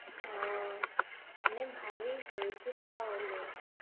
আহ মানে ভালোই হয়েছে তাহলে,